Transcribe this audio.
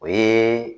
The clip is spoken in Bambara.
O ye